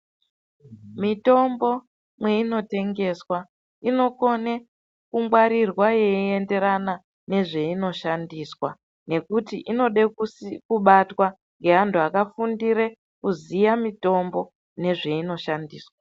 Mitombo mweinotengeswa inokone kungwarirwa yeienderana nezveinoshandiswa ,nekuti inode kusi kubatwa ngeanhu akafundire kuziya mitombo nezvainoshandiswa.